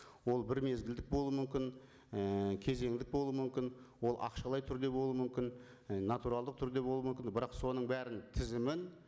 ол бір мезгілдік болу мүмкін ііі кезеңдік болу мүмкін ол ақшалай түрде болу мүмкін і натуралдық түрде болу мүмкін бірақ соның бәрін тізімін